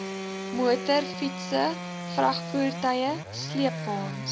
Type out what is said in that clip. motorfietse vragvoertuie sleepwaens